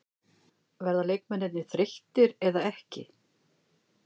Verða leikmennirnir þreyttir eða ekki?